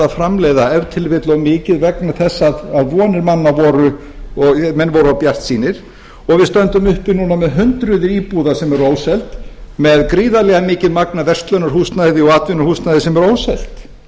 framleiða ef til vill of mikið vegna þess að vonir mann voru menn voru of bjartsýnir og við stöndum uppi núna með hundruð íbúða sem eru óseldar með gríðarlega mikið magn af verslunarhúsnæði og atvinnuhúsnæði sem er óselt